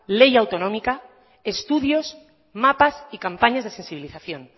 ley autonómica estudios mapas y campañas de sensibilización